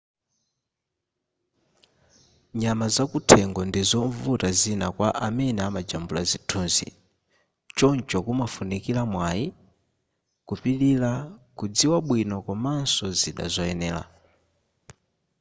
nyama zakuthengo ndizovuta zina kwa amene amajambula zithunzi choncho kumafunikira mwayi kupilira kudziwa bwino komanso zida zoyenera